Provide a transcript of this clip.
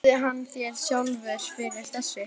Trúði hann þér sjálfur fyrir þessu?